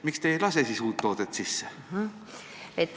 Miks te ei lase uut toodet sisse?